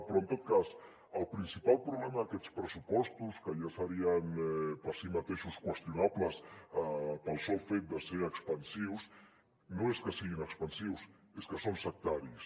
però en tot cas el principal problema d’aquests pressupostos que ja serien per si mateixos qüestionables pel sol fet de ser expansius no és que siguin expansius és que són sectaris